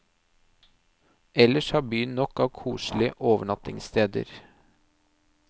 Ellers har byen nok av koselige overnattingssteder.